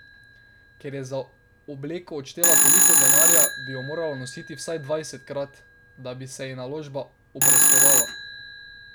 Ker je za obleko odštela toliko denarja, bi jo morala nositi vsaj dvajsetkrat, da bi se ji naložba obrestovala.